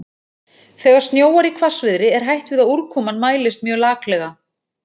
Þegar snjóar í hvassviðri er hætt við að úrkoman mælist mjög laklega.